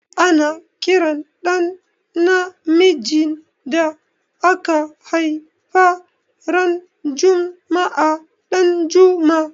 Ana ƙiran ɗa namijin da aka haifa ran juma'a Danjuma.